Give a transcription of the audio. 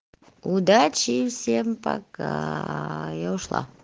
удачи всем пока я ушла